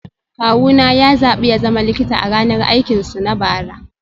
Kawuna ya zaɓi ya zama likita a ranar aikinsu na bara